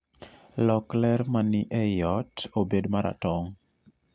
lok ler mani eyi oy obed maratong'